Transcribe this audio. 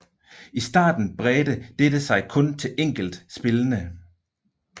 I starten bredte dette sig kun til enkelt spillene